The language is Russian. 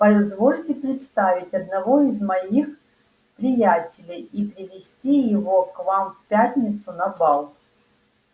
позвольте представить одного из моих приятелей и привезти его к вам в пятницу на бал